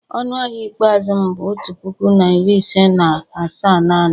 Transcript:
Ọnụ ahịa ikpeazụ m bụ otu puku na iri ise na asaa naanị